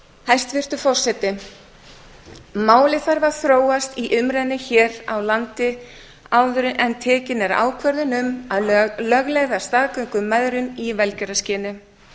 hæstvirtur forseti málið þarf að þróast í umræðunni hér á landi áður en tekin er ákvörðun um að að lögleiða staðgöngumæðrun í velgjörðarskyni